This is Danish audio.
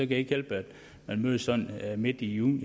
det ikke hjælpe at man mødes midt i juni